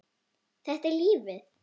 Þetta er lífið.